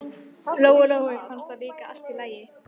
Lóu Lóu fannst það líka allt í lagi.